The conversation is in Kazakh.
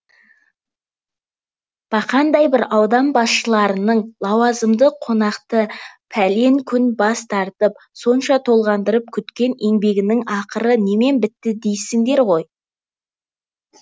бақандай бір аудан басшыларының лауазымды қонақты пәлен күн бас қатырып сонша толғанып күткен еңбегінің ақыры немен бітті дейсіңдер ғой